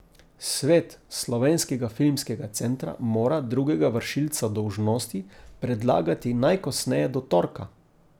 Svet Slovenskega filmskega centra mora drugega vršilca dolžnosti predlagati najkasneje do torka.